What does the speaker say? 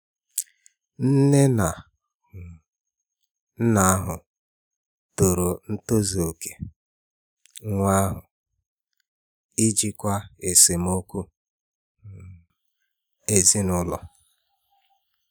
Nne na um nna ahụ toro ntozu okè nwa ahụ n’ijikwa esemokwu um ezinụlọ.